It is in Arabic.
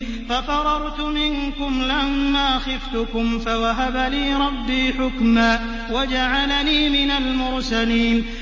فَفَرَرْتُ مِنكُمْ لَمَّا خِفْتُكُمْ فَوَهَبَ لِي رَبِّي حُكْمًا وَجَعَلَنِي مِنَ الْمُرْسَلِينَ